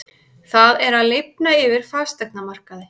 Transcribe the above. Það er að lifna yfir fasteignamarkaði